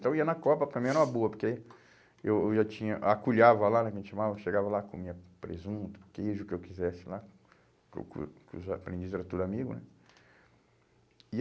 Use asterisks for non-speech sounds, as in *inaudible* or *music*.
Então ia na copa, para mim era uma boa, porque aí eu, eu já tinha, acolhava lá, né, que a gente chamava, chegava lá, comia presunto, queijo, o que eu quisesse lá, *unintelligible* porque os aprendizes eram tudo amigos, né. E